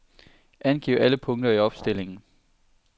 Angiv alle punkter i opstillingen.